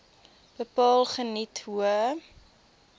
bepaal geniet hoë